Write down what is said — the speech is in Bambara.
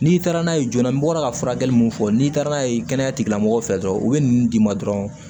N'i taara n'a ye joona n bɔra ka furakɛli mun fɔ n'i taara n'a ye kɛnɛya tigilamɔgɔw fɛ dɔrɔn u bɛ ninnu d'i ma dɔrɔn